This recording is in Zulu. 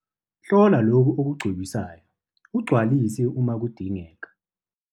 Hlola lokhu okugcobisayo ugcwalise uma kudingeka.